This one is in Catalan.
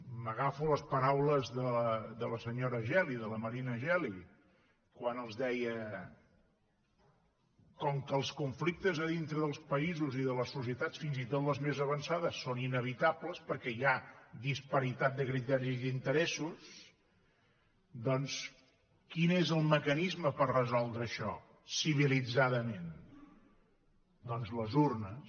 m’agafo a les paraules de la senyora geli de la marina geli quan els deia com que els conflictes a dintre dels països i de les societats fins i tot les més avançades són inevitables perquè hi ha disparitat de criteris d’interessos doncs quin és el mecanisme per resoldre això civilitzadament doncs les urnes